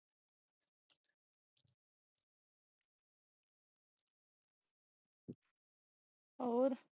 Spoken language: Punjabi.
ਹੋਰ